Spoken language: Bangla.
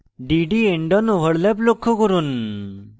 dd endon overlap লক্ষ্য করুন